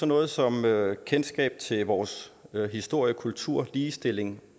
noget som kendskab til vores historie kultur ligestilling